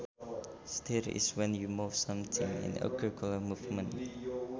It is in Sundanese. Stir is when you move something in a circular movement